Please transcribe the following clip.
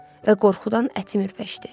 Və qorxudan ətim ürpəşdi.